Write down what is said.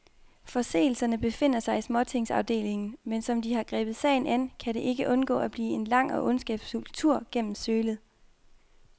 Forseelserne befinder sig i småtingsafdelingen, men som de har grebet sagen an, kan den ikke undgå at blive en lang og ondskabsfuld tur gennem sølet.